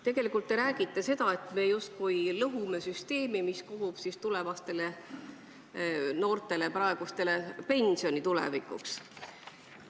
Tegelikult te räägite seda, et me justkui lõhume süsteemi, mis on tulevikuks mõeldud praegustele noortele ehk tulevastele pensionäridele.